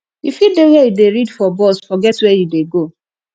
you fit dey where you dey read for bus forget where you dey go